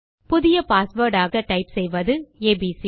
புதிய பாஸ்வேர்ட் ஆக டைப் செய்வது ஏபிசி